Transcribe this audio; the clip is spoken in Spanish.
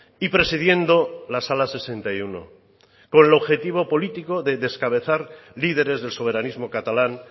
y presidiendo la sala sesenta y uno con el objetivo político de descabezar líderes del soberanismo catalán